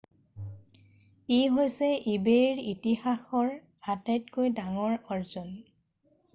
ই হৈছে ইবে’ইৰ ইতিহাসৰ আটাতকৈ ডাঙৰ আৰ্জন।